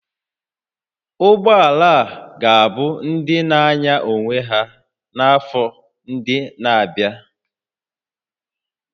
Ụgbọ ala ga-abụ ndị na-anya onwe ha n'afọ ndị na-abịa